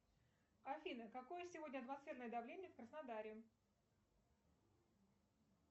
афина какое сегодня атмосферное давление в краснодаре